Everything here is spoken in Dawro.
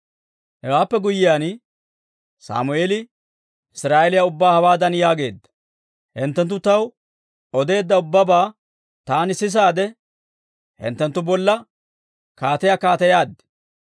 Hewaappe guyyiyaan, Sammeeli Israa'eeliyaa ubbaa hawaadan yaageedda; «Hinttenttu taw odeedda ubbabaa taani sisaadde, hinttenttu bolla kaatiyaa kaateyaad.